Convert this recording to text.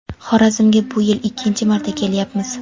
Xorazmga bu yil ikkinchi marta kelyapmiz.